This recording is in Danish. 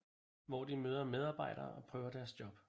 Hvor de møder medarbejdere og prøver deres job